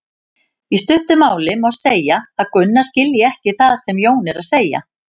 Í stuttu máli má segja að Gunna skilji ekki það sem Jón er að segja.